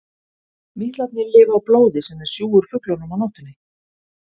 Mítlarnir lifa á blóði sem þeir sjúga úr fuglunum á nóttunni.